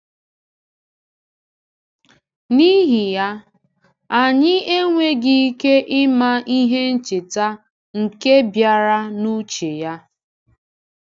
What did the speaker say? N’ihi ya, anyị enweghị ike ịma ihe ncheta nke bịara n’uche-ya.